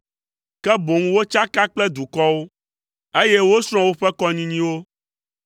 ke boŋ wotsaka kple dukɔwo, eye wosrɔ̃ woƒe kɔnyinyiwo.